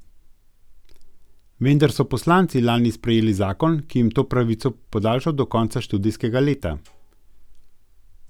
Vendar so poslanci lani sprejeli zakon, ki jim je to pravico podaljšal do konca študijskega leta.